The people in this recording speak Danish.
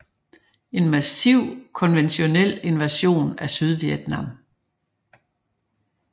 En massiv konventionel invasion af Sydvietnam